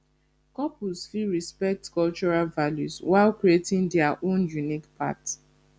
couples fit respect cultural values while creating dia own unique path